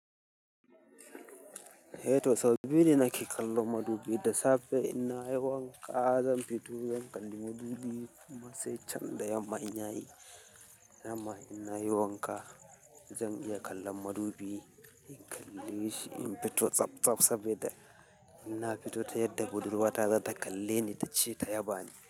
Eh toh sau biyu ne nake kallo madubi da safe in nayi wanka, zan fito zan kalli madubi. Tosai can da yamma ina yi, yamma ina haihuwa, ka zan iya kallan madubi. In kalle shi in fito tsab tsab sabi da, ina fito ta yadda budurwa ta za ta kalle ni ta ce ta yaba ni.